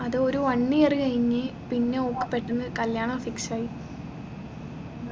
അതൊരു one year കഴിഞ്ഞ് പിന്നെ ഓൾക്ക് പെട്ടെന്ന് കല്യാണം fix ആയി